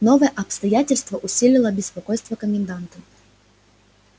новое обстоятельство усилило беспокойство коменданта